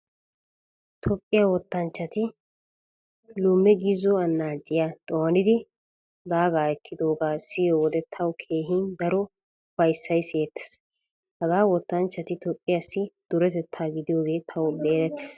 Toophphiyaa wottanchchati lume gizo annaaciyaa xoonidi daagaa ekkidoogaa siyo wode tawu keehi daro ufayssay siyettiis. Hagaa wottanchchati Toophphiyaassi duretettaa gidiyoogee tawu erettiis.